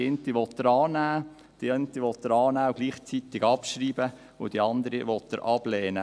Die eine will er annehmen, die eine will er annehmen und gleichzeitig abschreiben, die andere will er ablehnen.